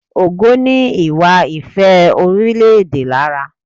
Ògo ní ìwà ìfẹ́-orílẹ̀-èdè lára.